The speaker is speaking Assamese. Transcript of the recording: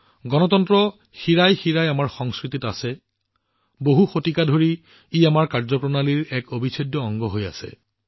গণতন্ত্ৰ আমাৰ শিৰাইউপশিৰাই আছে ই আমাৰ সংস্কৃতিত আছে ই বহু শতাব্দী ধৰি আমাৰ কামৰ এক অবিচ্ছেদ্য অংশ হৈ আহিছে